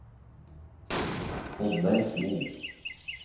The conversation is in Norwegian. Oddleif Mo